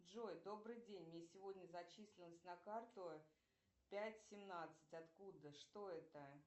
джой добрый день мне сегодня зачислилось на карту пять семнадцать откуда что это